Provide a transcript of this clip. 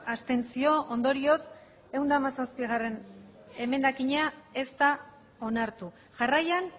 abstentzio ondorioz ehun eta hamazazpigarrena emendakina ez da onartu jarraian